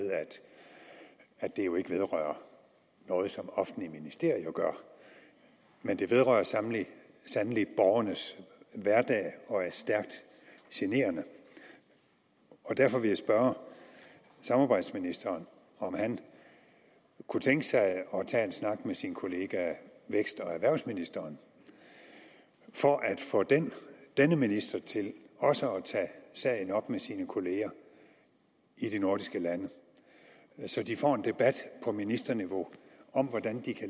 at det jo ikke vedrører noget som offentlige ministerier gør men det vedrører sandelig borgernes hverdag og er stærkt generende derfor vil jeg spørge samarbejdsministeren om han kunne tænke sig at tage en snak med sin kollega vækst og erhvervsministeren for at få denne denne minister til også at tage sagen op med sine kollegaer i de nordiske lande så de får en debat på ministerniveau om hvordan de kan